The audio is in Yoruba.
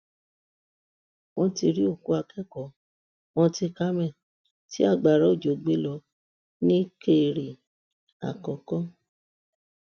wọn ti rí òkú akẹkọọ mount carmel tí agbára òjò gbé lọ nìkéré àkọkọ